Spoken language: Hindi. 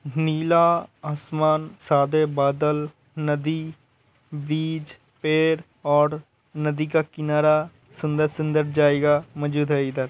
नीला आसमान सादे बादल नदी बीच पेड़ और नदी का किनारा सुंदर-सुंदर जायेगा इधर --